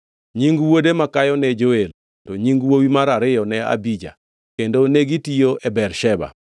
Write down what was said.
Nying wuode makayo ne Joel to nying wuowi mar ariyo ne Abija, kendo negitiyo e Bersheba.